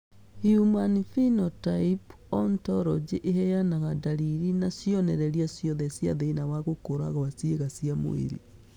Human Phenotype Ontology ĩheanaga ndariri na cionereria ciothe cia thĩna wa gũkũra gwa ciĩga cia mwĩrĩ